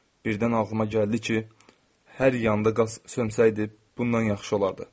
Birdən ağlıma gəldi ki, hər yanda qaz sönsaydı, bundan yaxşı olardı.